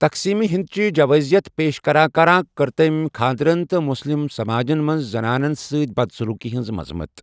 تقسیم ہندچہِ جَوٲزِیَت پیش کران کران کٔر تمہِ شٗرِ خاندرن تہٕ مٗسلم سماجس منٛز زنانن سۭتۍ بَد سٔلوٗکی ہنز مذمت۔